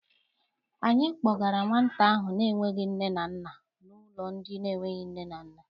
Anyị kpọgara nwata ahụ na-enweghị nne na nna n'ụlọ ndị enweghị nne na nna.